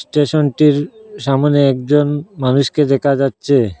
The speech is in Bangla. স্টেশনটির সামোনে একজন মানুষকে দেকা যাচ্চে।